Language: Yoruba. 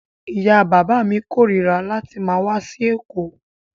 Ìyá-bàbá mi korira láti máa wá sí Èkó.